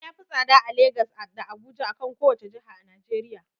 Fili ya fi tsada a Lagas da Abuja, akan kowace jiha a najeriya.